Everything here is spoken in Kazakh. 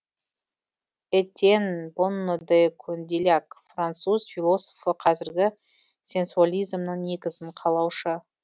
этьенн бонно де кондиьляк француз философы қазіргі сенсуализмнің негізін қалаушы